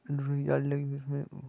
गाड़ी लगु हुई है इसमें--